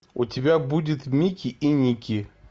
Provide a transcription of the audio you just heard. у тебя будет мики и ники